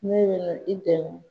Ne i dɛmɛ.